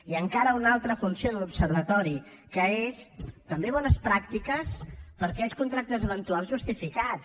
i encara una altra funció de l’observatori que són també bones pràctiques per a aquells contractes eventuals justificats